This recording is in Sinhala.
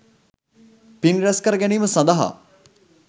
පින් රැස්කර ගැනීම සඳහා